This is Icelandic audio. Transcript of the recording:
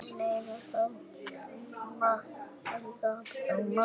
Börnin eiga þá marga